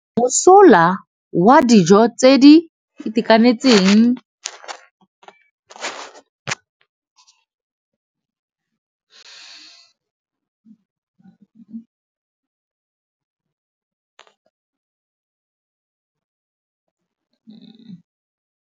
Mosola wa dijô tse di itekanetseng ke nonôfô ya mmele.